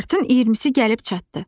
Martın 20-si gəlib çatdı.